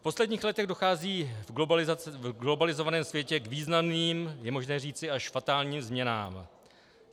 V posledních letech dochází v globalizovaném světě k významným, je možné říci až fatálním změnám.